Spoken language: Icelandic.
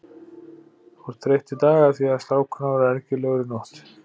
Þú ert þreytt í dag af því að strákurinn var ergilegur í nótt.